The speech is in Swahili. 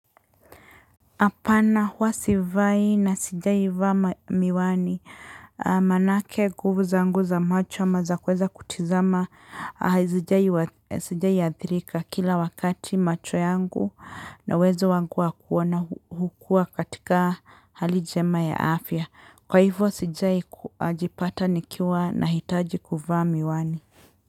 Apana hua sivai na sijai vaa miwani, manake nguvu zangu za macho ama za kuweza kutizama, sijai athirika kila wakati macho yangu na uwezo wangu waku ona hukua katika hali njema ya afya. Kwa hivyo sijai jipata nikiwa na hitaji kuvaa miwani.